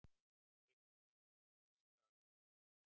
Teiknimynd fékk mesta aðsókn